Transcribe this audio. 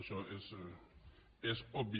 això és obvi